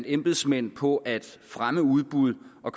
embedsmænd på at fremme udbud og